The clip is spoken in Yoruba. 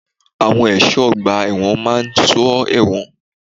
Àwọn ẹ̀ṣọ́ ọgbà ẹ̀wọ̀n máa ń sọ ẹ̀wọ̀n.